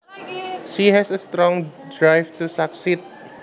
She has a strong drive to succeed